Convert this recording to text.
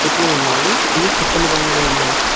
పెట్లు ఉన్నాయి ఈ పచ్చని రంగులో ఉన్నాయి.